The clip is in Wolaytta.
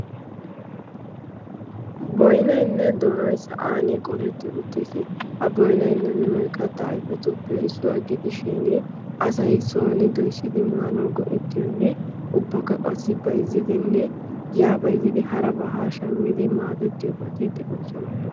boynaynne doonoy sa'an qoletti uttiis. ha boynaynne donoy kattaa aifatuppe issuwaa gidi shin asai sooni doissidi maanau go"ettiyoonne ubbakka qassi baizzidinne yaa baizzidi harabaa haa shammidi maadettiyoobaati de'oosona.